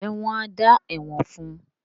ǹjẹ́ wọn á “ dá ẹ̀wọ̀n” fún.?